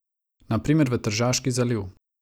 Na primer v Tržaški zaliv.